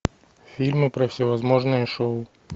фильмы про всевозможные шоу